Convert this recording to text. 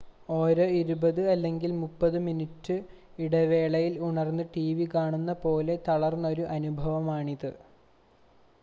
ഓരോ ഇരുപത് അല്ലെങ്കിൽ മുപ്പത് മിനുട്ട് ഇടവേളയിൽ ഉണർന്ന് ടിവി കാണുന്ന പോലെ തളർത്തുന്നൊരു അനുഭവമാണിത്